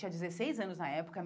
Ele tinha dezesseis anos na época.